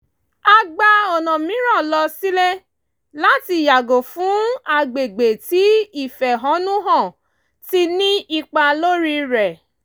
a gba ọ̀nà mìíràn lọ sílé láti yàgò fún agbègbè tí ìfẹ́honù hàn ti ní ipá lórí rẹ̀